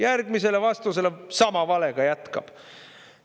Järgmisele vastusele sama valega jätkab.